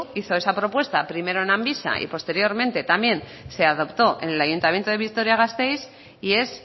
hizo esa propuesta primero en amvisa y posteriormente también se adoptó en el ayuntamiento de vitoria gasteiz y es